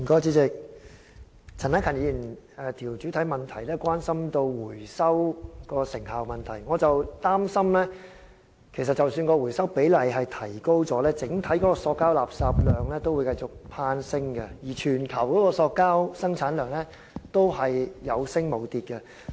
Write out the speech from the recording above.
主席，陳克勤議員的主體質詢關心回收的成效問題，而我則擔心即使回收比例有所提高，整體的塑膠垃圾量亦會繼續攀升，而全球的塑膠生產量也是有升無跌的。